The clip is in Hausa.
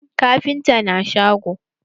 Kafintan na shago?